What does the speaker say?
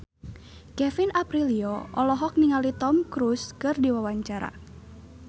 Kevin Aprilio olohok ningali Tom Cruise keur diwawancara